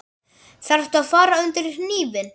Þarftu að fara undir hnífinn?